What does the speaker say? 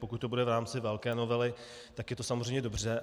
Pokud to bude v rámci velké novely, tak je to samozřejmě dobře.